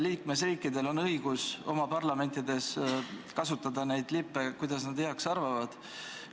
Liikmesriikidel on õigus oma parlamendis lippe kasutada, kuidas nad heaks arvavad.